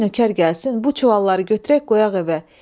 Qoy nökər gəlsin, bu çuvalları götürək qoyaq evə.